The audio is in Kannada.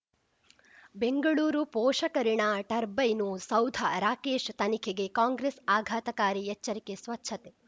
ಬೆಂಗಳೂರು ಪೋಷಕಋಣ ಟರ್ಬೈನು ಸೌಧ ರಾಕೇಶ್ ತನಿಖೆಗೆ ಕಾಂಗ್ರೆಸ್ ಆಘಾತಕಾರಿ ಎಚ್ಚರಿಕೆ ಸ್ವಚ್ಛತೆ